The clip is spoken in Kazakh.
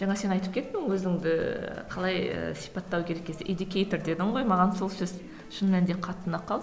жаңа сен айтып кеттің өзіңді қалай ы сипаттау керек кезде дедің ғой маған сол сөз шын мәнінде қатты ұнап